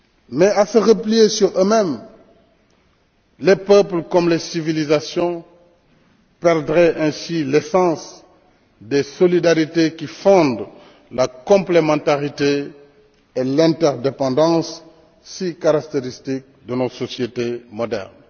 Mais à se replier sur eux mêmes, les peuples comme les civilisations perdraient ainsi l'essence des solidarités qui fondent la complémentarité et l'interdépendance si caractéristiques de nos sociétés modernes.